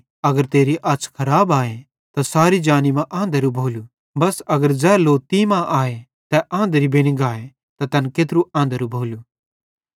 अगर तेरी अछ़ खराब आए त सारी जानी मां आंधरू भोलू बस अगर ज़ै लो तीं मां आए तै आंधरू बेनि गाए त तैन केत्रू आंधरू भोलू